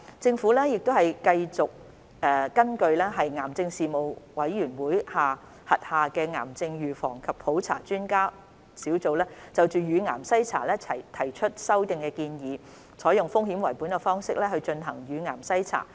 政府繼續根據癌症事務統籌委員會轄下的癌症預防及普查專家工作小組就乳癌篩查提出的修訂建議，採用風險為本的方式進行乳癌篩查。